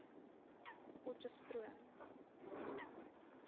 potchestroom